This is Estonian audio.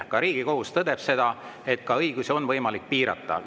Ka Riigikohus tõdeb seda, et neid õigusi on võimalik piirata.